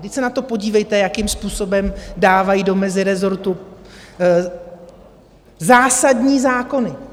Vždyť se na to podívejte, jakým způsobem dávají do mezirezortu zásadní zákony.